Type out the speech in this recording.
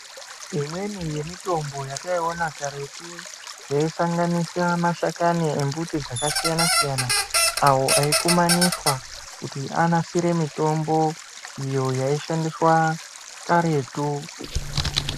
Imweni ye mitombo yataiona karetu yaisanganisira mashakani e mbuti dzaka siyana siyana awo aikumaniswa kuti anasire mitombo iyo yaishandiswa karetu.